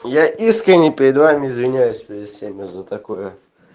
я искренне перед вами извиняюсь перед всеми за такое